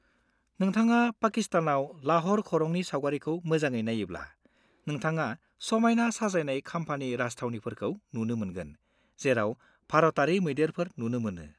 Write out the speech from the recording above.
-नोंथाङा पाकिस्तानाव लाह'र खरंनि सावगारिखौ मोजाङै नायोब्ला, नोंथाङा समायना साजायनाय खाम्फानि राजथावनिफोरखौ नुनो मोनगोन जेराव भारतारि मैदेरफोर नुनो मोनो।